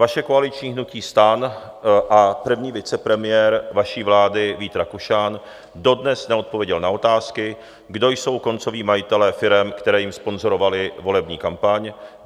Vaše koaliční hnutí STAN a první vicepremiér vaší vlády Vít Rakušan dodnes neodpověděl na otázky, kdo jsou koncoví majitelé firem, které jim sponzorovaly volební kampaň.